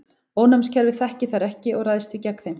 Ónæmiskerfið þekkir þær ekki og ræðst því gegn þeim.